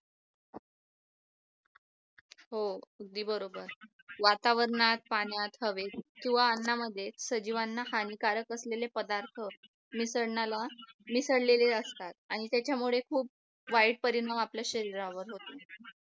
हो अगदी बरोबर वातावरणात पाण्यात हवेत किंवा अन्नामध्ये सजीवांना हानिकारक असलेले पदार्थ मिसळण्याला मिसळलेले असतात आणि त्याच्यामुळे खूप वाईट परिणाम आपल्या शरीरावर होतात